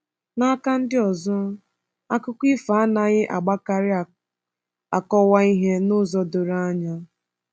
N’aka nke ọzọ, akụkọ ifo anaghị agbakarị akọwa ihe n’ụzọ doro anya.